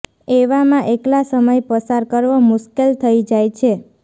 એવામાં એકલા સમય પસાર કરવો મુશ્કેલ થઈ જાય છે